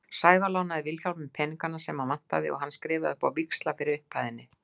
Sævar lánaði Vilhjálmi peningana sem hann vantaði og hann skrifaði upp á víxla fyrir upphæðinni.